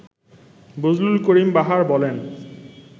বজলুল করিম বাহার বলেন